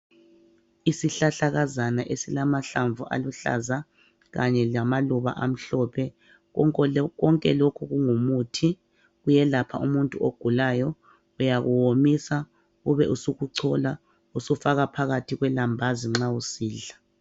Isihlahlakazana esilamahlamvu aluhlaza, kanye lamaluba amhlophe. Konke lokhu kungumuthi. Kuyelapha umuntu ogulayo, Uyakomisa, ube usukuchola. Ubusufaka phakathi kwelambazi nxa usidla.